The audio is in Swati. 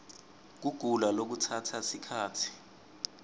kugula lokutsatsa sikhatsi